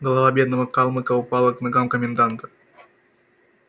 голова бедного калмыка упала к ногам коменданта